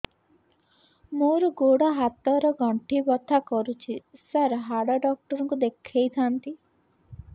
ମୋର ଗୋଡ ହାତ ର ଗଣ୍ଠି ବଥା କରୁଛି ସାର ହାଡ଼ ଡାକ୍ତର ଙ୍କୁ ଦେଖାଇ ଥାନ୍ତି